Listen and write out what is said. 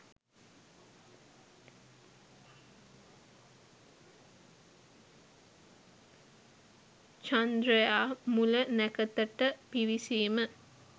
චන්ද්‍රයා මුල නැකතට පිවිසීම